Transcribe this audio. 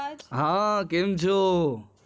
હા કેમ છો